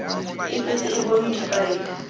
e setse e bonwe difaele